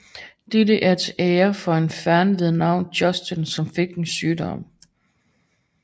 Dette er til ære for en fan ved navn Justin som fik en sygdom